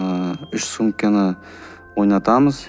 ыыы үш сөмкені ойнатамыз